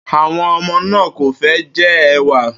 Àwo̩n o̩mo̩ náà kò fé̩ je̩ è̩wà